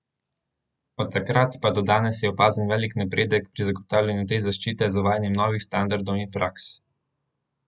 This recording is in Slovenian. Od takrat pa do danes je opazen veliki napredek pri zagotavljanju te zaščite z uvajanjem novih standardov in praks.